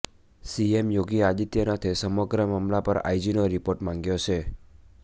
CM Yogi આદિત્યનાથે સમગ્ર મામલા પર આઇજીનો રિપોર્ટ માગ્યો છે